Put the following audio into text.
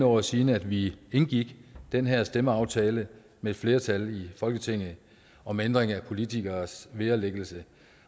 år siden at vi indgik den her stemmeaftale med et flertal i folketinget om ændring af politikeres vederlæggelse